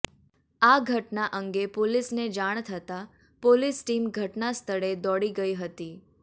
આ ઘટના અંગે પોલીસને જાણ થતાં પોલીસ ટીમ ધટના સ્થળે દોડી ગઇ હતી